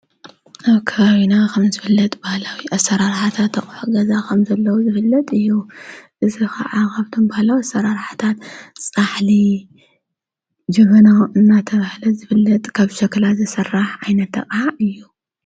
ኣብ ከይና ኸም ዘብለጥ በሃላዊ ኣሠራ ርኃታት ኣቕሕ ገዛ ኸም ዘለዉ ዝብለጥ እዩ ዘስኻ ዓኻብቶም በሃላዊ ኣሠራርሕታት ፃሕሊ ጅብና እናተብሕለ ዘብለጥ ካብ ሸክላ ዘሠራሕ ኣይነተቓዓ እዩ።